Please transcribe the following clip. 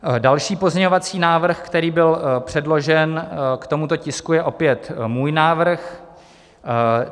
Další pozměňovací návrh, který byl předložen k tomuto tisku, je opět můj návrh.